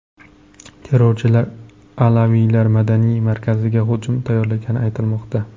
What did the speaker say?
Terrorchilar alaviylar madaniy markaziga hujum tayyorlagani aytilmoqda.